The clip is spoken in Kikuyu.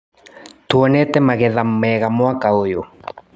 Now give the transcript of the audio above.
Tuonete magetha mega mwaka ũyũ.